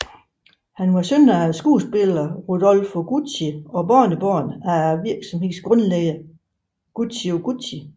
Han var søn af skuespilleren Rodolfo Gucci og barnebarn af virksomhedens grundlægger Guccio Gucci